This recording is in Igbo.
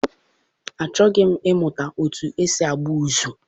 Achọghị m ịmụta etu esi akpụ ụzụ.